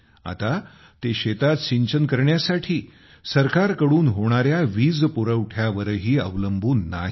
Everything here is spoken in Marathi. आता ते शेतात सिंचन करण्यासाठी सरकारकडून होणाऱ्या वीज पुरवठ्यावरही अवलंबून नाहीत